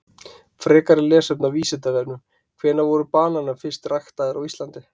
Frekara lesefni á Vísindavefnum: Hvenær voru bananar fyrst ræktaðir á Íslandi?